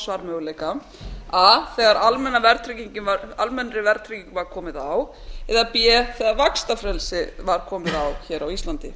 svarmöguleika a þegar almennri verðtryggingu var komið á eða b þegar vaxtafrelsi var komið á hér á íslandi